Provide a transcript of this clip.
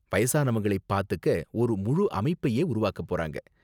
வயசானவங்களை பாத்துக்க ஒரு முழு அமைப்பையே உருவாக்கப் போறாங்க.